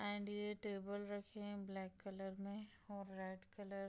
and ये table रखे हैं ब्लैक कलर में और रेड कलर --